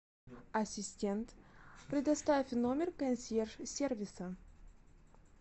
ассистент предоставь номер консьерж сервиса